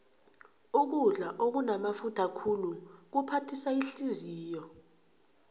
ukudla okunamafutha khulu kuphathisa ihliziyo